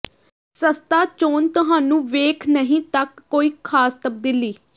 ਸਸਤਾ ਚੋਣ ਤੁਹਾਨੂੰ ਵੇਖ ਨਹੀ ਤੱਕ ਕੋਈ ਖਾਸ ਤਬਦੀਲੀ